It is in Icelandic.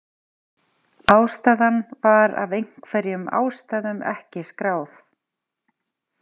Ástæðan var af einhverjum ástæðum ekki skráð.